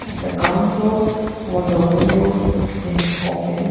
At the ground floor all the windows seems opened.